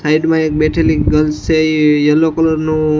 side મા એક બેઠેલી ગર્લ્સ છે ઈ યેલો કલર નુ --